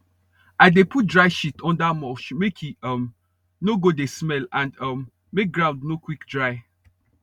i dey put dry shit under mulch make e um no go dey smell and um make ground no quick dry